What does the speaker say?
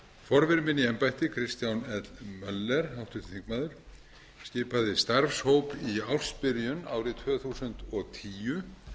forveri minn í embætti háttvirtir þingmenn kristján l möller skipaði starfshóp í ársbyrjun árið tvö þúsund og tíu